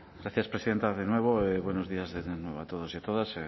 gracias presidenta de nuevo buenos días de nuevo a todos y a todas